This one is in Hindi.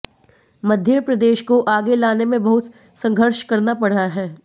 मध्य प्रदेश को आगे लाने में बहुत संघर्ष करना पड़ा है